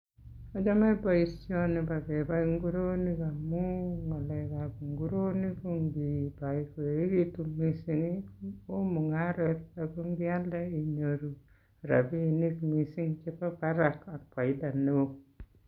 Achame boisioni bo kepai nguronik amun ngalekab nguronik ko ngipai koechekitu mising, oo mungaret ako ngialde rapinik mising chebo barak ak faida neo.